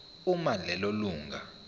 uma lelo lunga